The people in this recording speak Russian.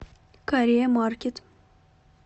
корея маркет